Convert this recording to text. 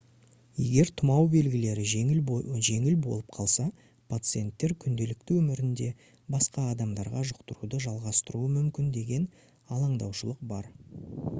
егер тұмау белгілері жеңіл болып қалса пациенттер күнделікті өмірінде басқа адамдарға жұқтыруды жалғастыруы мүмкін деген алаңдаушылық бар